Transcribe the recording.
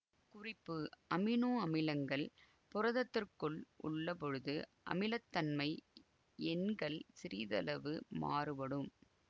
குறிப்பு அமினோ அமிலங்கள் புரதத்திற்குள் உள்ளபொழுது அமிலத்தன்மை எண்கள் சிறிதளவு மாறுபடும்